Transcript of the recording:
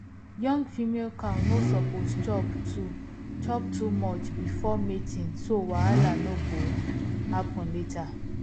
young female cow no suppose chop too chop too much before mating so wahala no go happen later